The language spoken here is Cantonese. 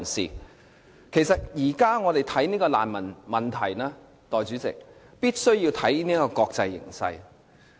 代理主席，我們現時看難民問題，必須看國際形勢。